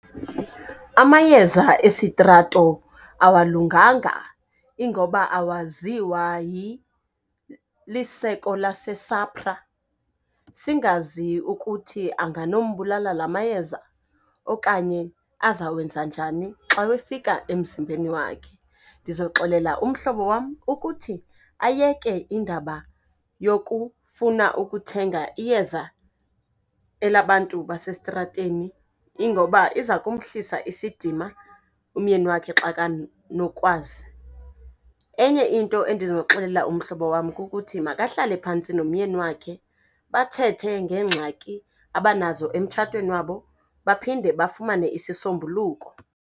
Amayeza esitrato awalunganga ingoba awaziwa liseko laseSAPRA, singazi ukuthi anganombulala la mayeza okanye azawenza njani xa wefika emzimbeni wakhe. Ndizoxelela umhlobo wam ukuthi ayeke indaba yokufuna ukuthenga iyeza elabantu basestrateni ingoba iza kumhlisa isidima umyeni wakhe xa kanokwazi. Enye into endinoxelela umhlobo wam kukuthi makahlale phantsi nomyeni wakhe bathethe ngengxaki abanazo emtshatweni wabo, baphinde bafumane isisombuluko.